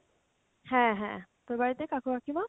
হ্যাঁ হ্যাঁ, তোর বাড়িতে কাকু কাকিমা?